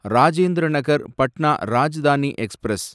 Rajendra Nagar Patna Rajdhani express